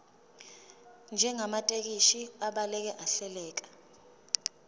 njengamathekisthi abhaleke ahleleka